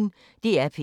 DR P1